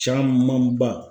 Camanba.